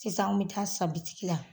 Sisan an bɛ taa sa bitigi la.